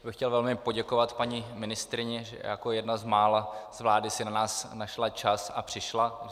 Chtěl bych velmi poděkovat paní ministryni, že jako jedna z mála z vlády si na nás našla čas a přišla.